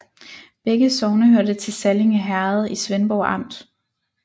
Begge sogne hørte til Sallinge Herred i Svendborg Amt